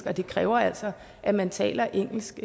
og det kræver altså at man taler engelsk